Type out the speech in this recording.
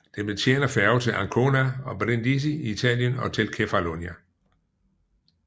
Den betjener færger til Ancona og Brindisi i Italien og til Kefalonia